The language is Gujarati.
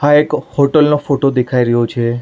આ એક હોટલ નો ફોટો દેખાઈ રહ્યો છે.